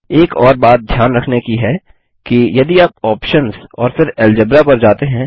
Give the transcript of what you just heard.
एक और बात ध्यान रखने की है कि यदि आप आप्शंस और फिर अल्जेब्रा पर जाते हैं